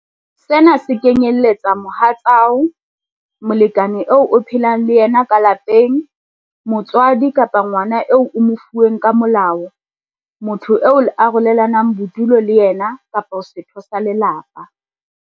Sena se kenyeletsa mohatsao, molekane eo o phelang le yena ka lapeng, motswadi kapa ngwana eo o mo fuweng ka molao, motho eo le arolelanang bodulo le yena kapa setho sa lelapa.